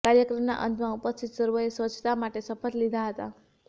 કાર્યક્રમના અંતમાં ઉપસ્થિત સર્વેએ સ્વચ્છતા માટે શપથ લીધા હતા